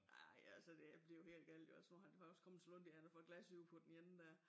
Nej altså det blevet helt galt jo altså nu han har også kommet så langt i han har fået glasøje på den ene dér